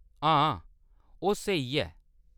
हां ओह्‌‌ स्हेई ऐ।